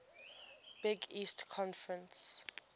big east conference